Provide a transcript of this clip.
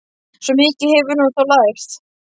Svo mikið hefur hún þó lært.